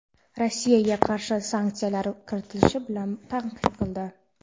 Rossiyaga qarshi sanksiyalar kiritilishi bilan tahdid qildi.